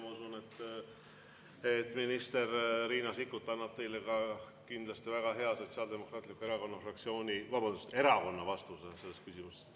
Ma usun, et minister Riina Sikkut annab teile kindlasti teada ka Sotsiaaldemokraatliku Erakonna fraktsiooni, vabandust, erakonna seisukoha selles küsimuses.